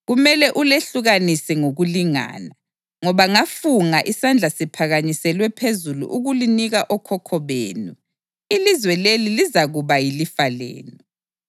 Kumele ulehlukanise ngokulingana, ngoba ngafunga isandla siphakanyiselwe phezulu ukulinika okhokho benu, ilizwe leli lizakuba yilifa lenu.